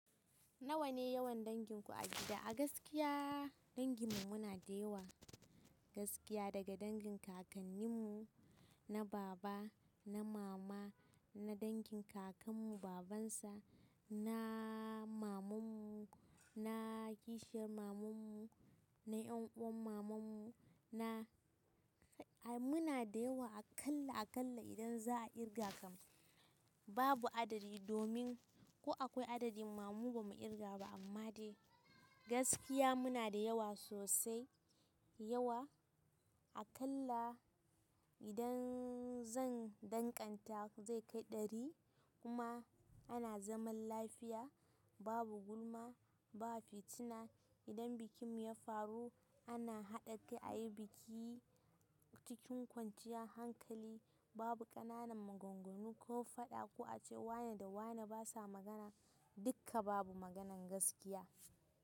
Nawa ne yawan danginku a gida? A gaskiya dangin mu muna da yawa gaskiya daga dangin kakannin mu, na baba, na mama, na dangin kakan mu baban sa, na maman mu, na kishiyar maman mu, na yan uwan maman mu, na ai muna da yawa akalla akalla idan za a kirga kam babu adadi domin ko akwai adadi ma mu ba mu kirga ba amma dai gaskiya muna da yawa sosai yawa akalla idan zan danganta zai kai ɗari kuma ana zaman lafiya babu gulma ba fitina idan bikin mu ya faru ana haɗa kai ayi biki cikin kwanciyar hankali babu ƙananan maganganu ko faɗa ko a ce wane da wane basa magana dukka babu maganan gaskiya.